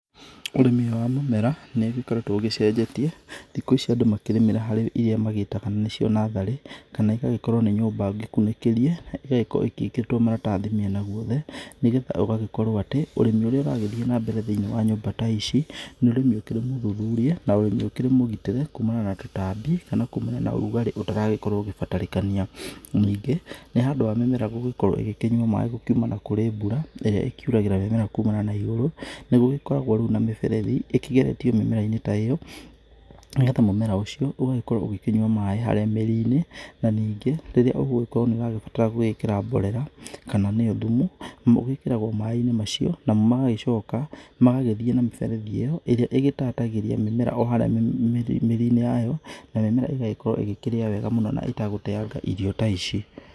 Ũrĩmi wa mũmera nĩ ũgĩkoretwo ũgĩcenjetie, thikũ ici andũ makĩrĩmĩra harĩ ĩria magĩtaga nĩcio natharĩ kana igagĩkorwo nĩ nyũmba ngĩkunĩkĩrie ĩgagĩkorwo ĩgĩkĩrĩtwo maratathi mĩena gũothe nĩgetha gũgagĩkorwo atĩ ũrĩmi ũrĩa ũrakorwo ũgĩthĩĩ nambere thĩiniĩ wa nyũmba ta ici nĩ ũrĩmi ũkĩrĩ mathuthurĩe na nĩũkĩrĩ mũgitĩre kũũmana na tũtambi kana kumana na ũrugarĩ ũtaragĩkorwo ũgĩbatarania. Ningĩ nĩ ũndũ wa mĩmera gũgĩkorwo ĩkĩnyua maĩ kũmana na mbura ĩrĩa ĩkĩuraga kumana na igũrũ nĩgũgĩkoragwo rĩu na mĩberethi ĩkĩgeretio mĩmera-inĩ ta ĩyo nĩgetha mũmera ũcio ũgagĩkorwo ũkĩnyua maĩ kuma haria mĩrinĩ na ningĩ rĩrĩa ũgũgĩkorwo nĩ ũragĩbatara gwĩkĩra mborera kana nĩyo thumu ĩgĩkĩragwo maĩ-inĩ macio namo magagĩcoka magagĩthĩĩ na mĩbeterethi ĩyo, ĩrĩa ĩgĩtatagĩria mĩmera o harĩa mĩrinĩ yao, na mĩmera ĩgagĩkorwo ĩkĩrĩa wega mũno na hatarĩ gũteyanga irio ta ici.